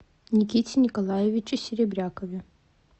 никите николаевиче серебрякове